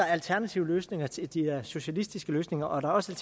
er alternative løsninger til de socialistiske løsninger og der er også